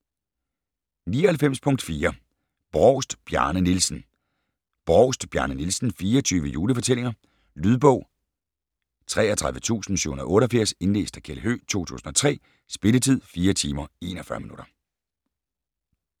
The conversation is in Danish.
99.4 Brovst, Bjarne Nielsen Brovst, Bjarne Nielsen: 24 julefortællinger Lydbog 33788 Indlæst af Kjeld Høegh, 2003. Spilletid: 4 timer, 41 minutter.